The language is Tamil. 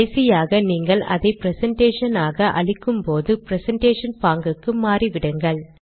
கடைசியாக நீங்கள் அதை பிரசன்டேஷன் ஆக அளிக்கும்போது பிரசன்டேஷன் பாங்குக்கு மாறிவிடுங்கள்